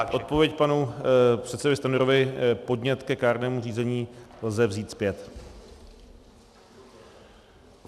Stručně odpověď panu předsedovi Stanjurovi - podnět ke kárnému řízení lze vzít zpět.